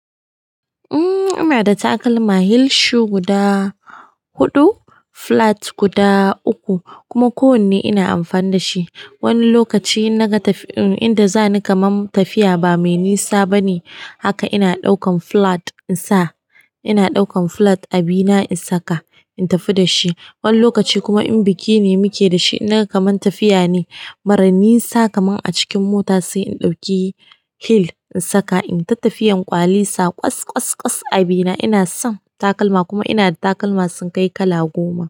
Inada, takalma heel shoe guda huɗu, flat guda uku kuma kowanne ina amfana dashi. Wani lokaci inda za ni kaman tafiya ba mai nisa bane, haka ina ɗaukan flat in sa. Ina ɗaukan flat a bina in saka, in tafi da shi. Wani lokaci kuma in biki ne muke da shi, in naga kaman tafiya ne, mara ninsa kaman a cikin mota sai in ɗauki heel in saka. In ta tafiyan ƙwali sa ƙwas-ƙwas a bina. Ina son takalma kuma ina da takalma sun kai kala goma.